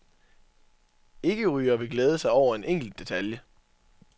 Ikkerygere vil glæde sig over en enkelt detalje.